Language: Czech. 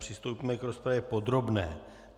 Přistoupíme k rozpravě podrobné.